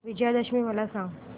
विजयादशमी मला सांग